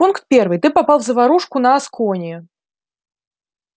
пункт первый ты попал в заварушку на аскони